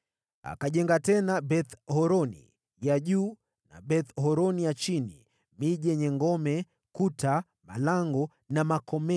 Akajenga tena Beth-Horoni ya Juu na Beth-Horoni ya Chini, miji yenye ngome, kuta, malango na makomeo.